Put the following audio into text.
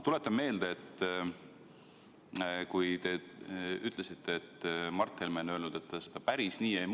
Te ütlesite, et Mart Helme on öelnud, et ta seda päris nii ei mõelnud.